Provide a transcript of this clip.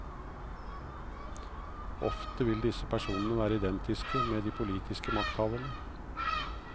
Ofte vil disse personene være identiske med de politiske makthaverne.